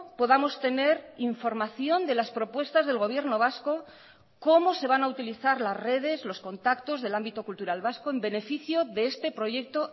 podamos tener información de las propuestas del gobierno vasco cómo se van a utilizar las redes los contactos del ámbito cultural vasco en beneficio de este proyecto